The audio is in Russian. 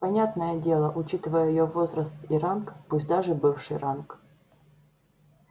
понятное дело учитывая её возраст и ранг пусть даже бывший ранг